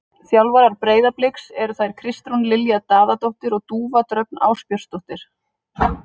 Þjálfarar Breiðabliks eru þær Kristrún Lilja Daðadóttir og Dúfa Dröfn Ásbjörnsdóttir.